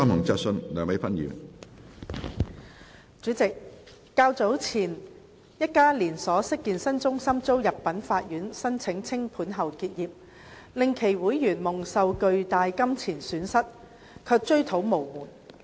主席，較早前，一家連鎖式健身中心遭入稟法院申請清盤後結業，令其會員蒙受巨大金錢損失卻追討無門。